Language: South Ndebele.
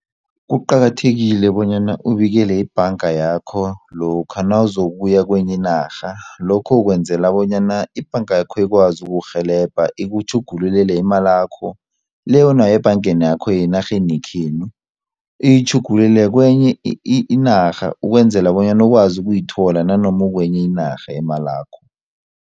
Kuqakathekile bonyana ubikele ibhanga yakho lokha nawuzokuya kwenye inarha lokho ukwenzela bonyana ibhanga yakho ikwazi ukukurhelebha ikutjhugululele imalakho le onayo ebhangeni yakho yenarheni yekhenu iyitjhugululele kwenye inarha ukwenzela bonyana ukwazi ukuyithola nanoma ukwenye inarha imalakho.